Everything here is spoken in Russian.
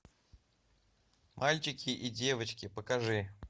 мальчики и девочки покажи